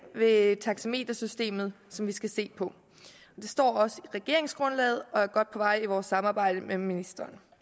ved taxametersystemet som vi skal se på det står også i regeringsgrundlaget og er godt på vej i vores samarbejde med ministeren